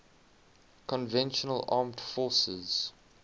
conventional armed forces